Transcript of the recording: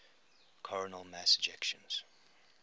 coronal mass ejections